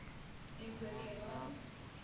emperor k gon